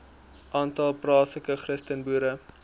aantal plaaslike christenboere